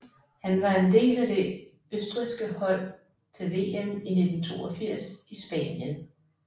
Han var en del af det østrigske hold til VM i 1982 i Spanien